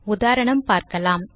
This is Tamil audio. உதாரணம் பார்க்கலாம்